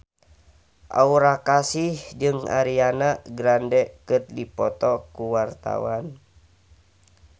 Aura Kasih jeung Ariana Grande keur dipoto ku wartawan